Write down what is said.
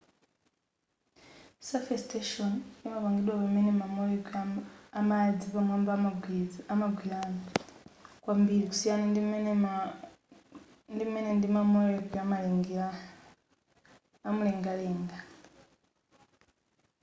surface tension imapangidwa pamene ma molecule amadzi pamwamba amagwirana kwambiri kusiyana ndim'mene ndima molecule amulengalenga